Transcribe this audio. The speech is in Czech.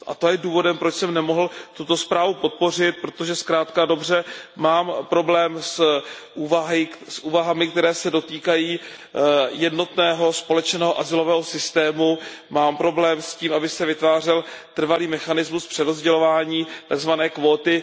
A to je důvodem, proč jsem nemohl tuto zprávu podpořit, protože zkrátka a dobře mám problém s úvahami, které se dotýkají jednotného společného azylového systému, mám problém s tím, aby se vytvářel trvalý mechanismus přerozdělování, tak zvané kvóty.